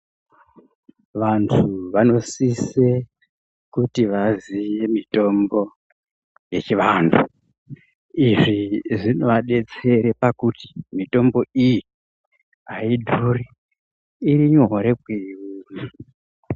Vantu vanosise kuti vaziye mitombo yechivantu. Izvi zvinoabetsere pakuti mitombo iyi haidhuri iri nyore kuiona.